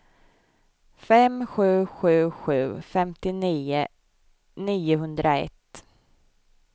fem sju sju sju femtionio niohundraett